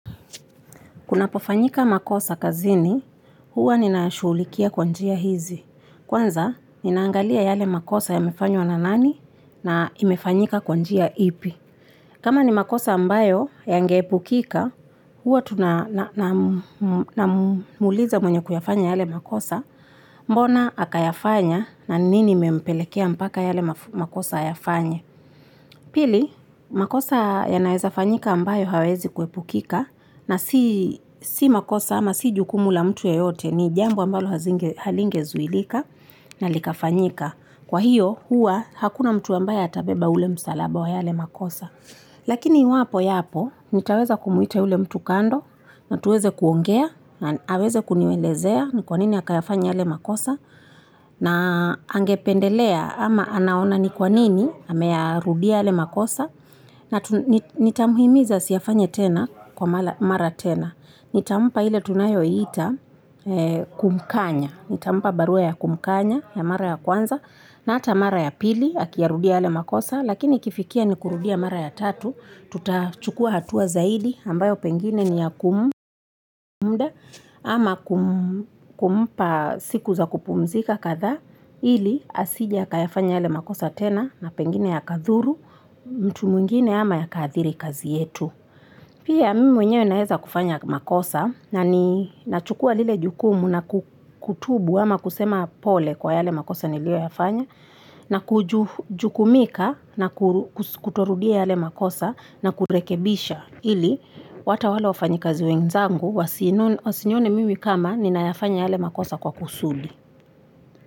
Kunapo fanyika makosa kazini, huwa nina ya shughulikia kwa njia hizi. Kwanza, ninaangalia yale makosa yamefanywa na nani na imefanyika kwa njia ipi. Kama ni makosa ambayo yange epukika, huwa tuna namuuliza mwenye kuyafanya yale makosa mbona akayafanya na nini imempelekea mpaka yale makosa yafanya. Pili, makosa yanaweza fanyika ambayo hayawezi kuepukika na si Si makosa ama si jukumu la mtu yeyote ni jambo ambalo halingezuilika na likafanyika. Kwa hiyo, hua hakuna mtu ambaye atabeba ule msalaba wa yale makosa. Lakini iwapo yapo, nitaweza kumuita yule mtu kando na tuweze kuongea na aweze kunielezea ni kwa nini akayafanya yale makosa. Na angependelea ama anaona ni kwa nini, ame ya rudia yale makosa na nitamuhimiza asiyafanye tena kwa mara tena nitampa ile tunayoita Kumkanya nitampa barua ya kumkanya, ya mara ya kwanza na ata mara ya pili, akiarudia yale makosa lakini ikifikia ni kurudia mara ya tatu tutachukua hatua zaidi ambayo pengine ni ya kumuda ama kumpa siku za kupumzika kadha ili asije akayafanya yale makosa tena na pengine ya kadhuru mtu mwingine ama yakaathiri kazi yetu Pia mimi mwenyewe naeza kufanya makosa na ni nachukua lile jukumu na kutubu ama kusema pole kwa yale makosa nilio yafanya na kujukumika na kutorudia yale makosa na kurekebisha ili hata wale wafanyi kazi wenzangu Wasinione mimi kama ninayafanya yale makosa kwa kusudi.